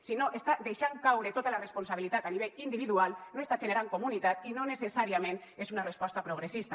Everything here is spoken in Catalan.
si no està deixant caure tota la responsabilitat a nivell individual no està generant comunitat i no necessàriament és una resposta progressista